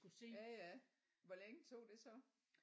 Ja ja hvor længe tog det så?